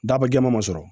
Daba jɛman ma sɔrɔ